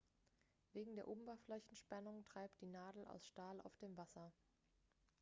wegen der oberflächenspannung treibt die nadel aus stahl auf dem wasser